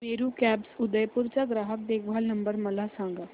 Meru cabs Udaipur चा ग्राहक देखभाल नंबर मला सांगा